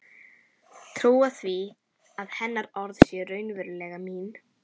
Trúa því að hennar orð séu raunverulega mín.